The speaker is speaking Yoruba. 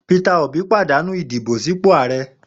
Peter Obí pàdánù ìdìbò sípò Ààrẹ.